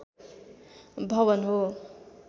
भवन हो